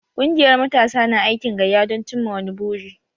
Kungiyar matasa na aikin gayya don cimma wani buri.